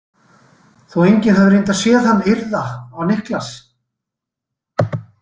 Þó að enginn hafi reyndar séð hann yrða á Niklas.